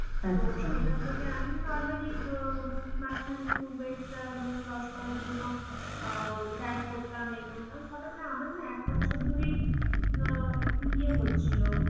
তো সেখান থেকে আমি normally উম মাঝখানে একটু weight টা lose loss করার জন্য অউ diet করতাম এ করতাম সাধারনত আমার না এক বছর ধরেই অ্যাঁ একটু ইয়ে হচ্ছিল.